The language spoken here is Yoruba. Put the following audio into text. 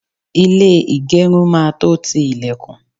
ilé igerun máa tọ ti ilekun